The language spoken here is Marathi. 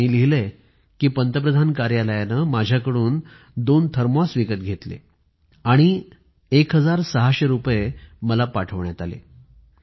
तर त्यांनी लिहिलं आहे की पंतप्रधान कार्यालयाने माझ्याकडून दोन थर्मोस विकत घेतले आणि १६०० रुपयये मला पाठवण्यात आले